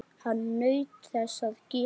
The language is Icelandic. Hann naut þess að gefa.